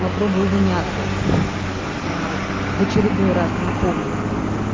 попробую внятно в очередной раз напомнить